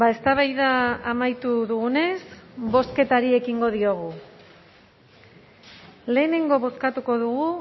eztabaida amaitu dugunez bozketari ekingo diogu lehenengo bozkatuko dugu